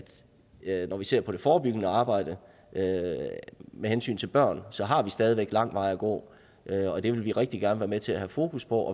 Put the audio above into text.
når vi ser på det forebyggende arbejde med hensyn til børn så har vi stadig lang vej at gå det vil vi rigtig gerne være med til at have fokus på